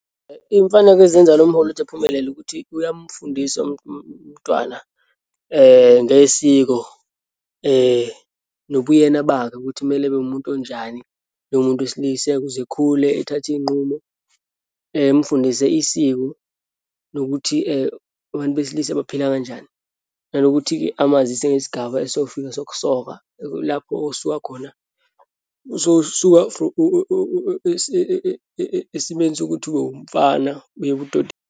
Iyimfaneko ezenza lo mholi ukuthi ephumelele ukuthi uyamfundisa umntwana ngesiko nobuyena bakhe ukuthi kumele ebe wumuntu onjani, njengomuntu wesilisa, ukuze ekhule ethathe iyinqumo, emfundise isiko lokuthi abantu besilisa baphila kanjani. Nanokuthi-ke amazise ngesigaba esofika sokusoka, lapho osuka khona sowusuka esimeni sokuthi ube umfana uye ebudodeni.